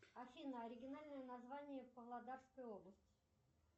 афина оригинальное название павлодарской области